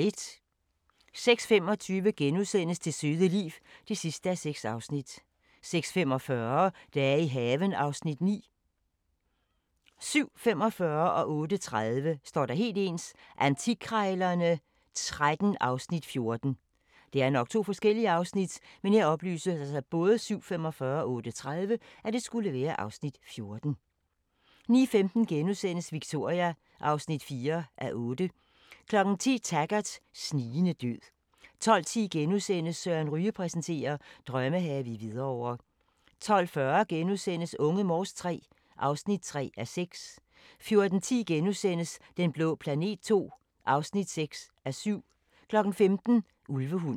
06:25: Det søde liv (6:6)* 06:45: Dage i haven (Afs. 9) 07:45: Antikkrejlerne XIII (Afs. 14) 08:30: Antikkrejlerne XIII (Afs. 14) 09:15: Victoria (4:8)* 10:00: Taggart: Snigende død 12:10: Søren Ryge præsenterer: Drømmehave i Hvidovre * 12:40: Unge Morse III (3:6)* 14:10: Den blå planet II (6:7)* 15:00: Ulvehunden